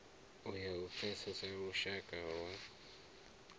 ya u pfesesa lushaka lwa